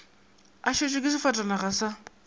a šetšwe ke sefatanaga sa